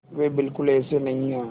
वे बिल्कुल ऐसे नहीं हैं